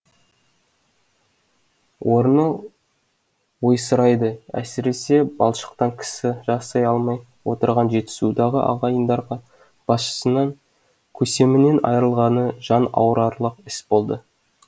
орны ойсырайды әсіресе балшықтан кісі жасай алмай отырған жетісудағы ағайындарға басшысынан көсемінен айырылғаны жан ауырарлық іс болды